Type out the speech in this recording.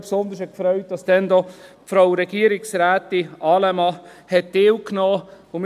Besonders gefreut hat mich natürlich, dass damals auch Frau Regierungsrätin Allemann teilgenommen hat.